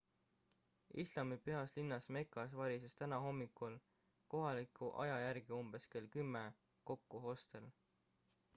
islami pühas linnas mekas varises täna hommikul kohaliku aja järgi umbes kell 10 kokku hostel